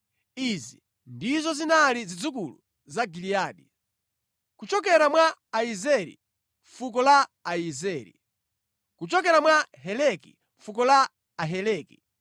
Izi ndizo zinali zidzukulu za Giliyadi; kuchokera mwa Iyezeri, fuko la Aiyezeri; kuchokera mwa Heleki, fuko la Aheleki;